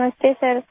نمستے سر